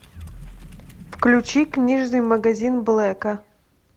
включи книжный магазин блэка